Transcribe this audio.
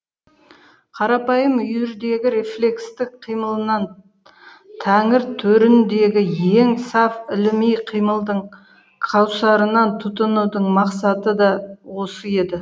қарапайым үйірдегі рефлекстік қимылынан тәңір төріндегі ең саф іліми қимылдың кәусарынан тұтынудың мақсаты да осы еді